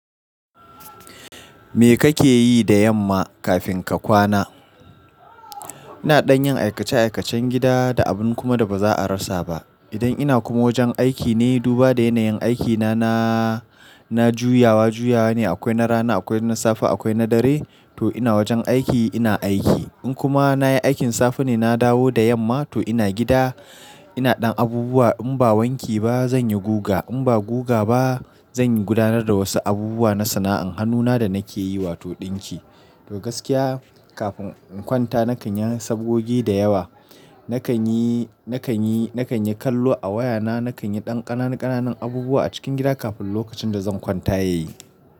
Me kake yi da yamma kafin ka kwana? Ina ɗan yin aikace aikacen gida da abun kuma da ba za a rasa ba. Idan ina kuma wajen aiki ne, duba da yanayin aikina na, na juyawa juyawa ne, akwai na rana, akwai na safe, akwai na dare, to ina wajen aiki ina aiki. In kuma na yi aikin safe ne na dawo da yamma, to ina gida ina ɗan abubuwa. In ba wanki ba, zan yi guga. In ba guga ba, zan yi gudanar da wasu abubuwa na sana'an hannuna da nake yi, wato dinki. To gaskiya kafin in kwanta nakan yi sabogogi da yawa. Nakan yi, nakan yi, nakan yi kallo a wayana, nakan yi ɗan ƙananan ƙananan abubuwa a cikin gida kafin lokacin da zan kwanta ya yi.